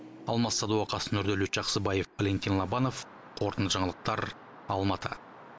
алмас садуақас нұрдәулет жақсыбаев валентин лобанов қорытынды жаңалықтар алматы